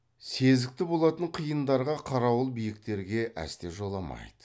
сезікті болатын қиындарға қарауыл биіктерге әсте жоламайды